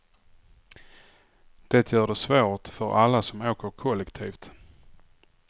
Det gör det svårt för alla som åker kollektivt.